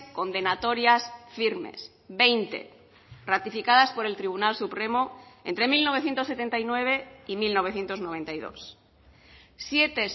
condenatorias firmes veinte ratificadas por el tribunal supremo entre mil novecientos setenta y nueve y mil novecientos noventa y dos siete